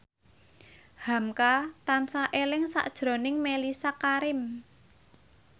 hamka tansah eling sakjroning Mellisa Karim